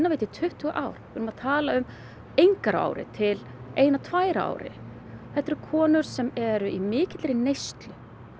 þetta í tuttugu ár við erum að tala um enga á ári til eina tvær á ári þetta eru konur sem eru í mikilli neyslu